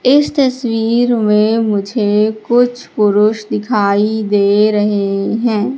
इस तस्वीर में मुझे कुछ पुरुष दिखाई दे रहे हैं।